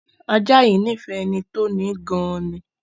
Ajá yìí nífẹ̀ẹ́ ẹni tó ni í gan an ni.